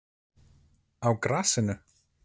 Á grasinu?